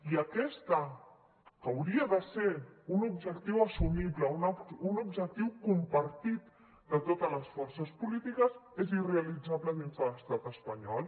i aquest que hauria de ser un objectiu assumible un objectiu compartit de totes les forces polítiques és irrealitzable dins de l’estat espanyol